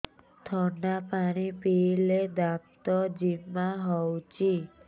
ଥଣ୍ଡା ପାଣି ପିଇଲେ ଦାନ୍ତ ଜିମା ହଉଚି